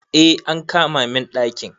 Eh an kama min daki